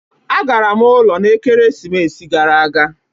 Agara m ụlọ n'ekeresimesi gara aga